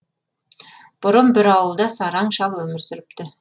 бұрын бір ауылда сараң шал өмір сүріпті